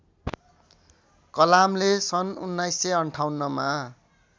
कलामले सन् १९५८ मा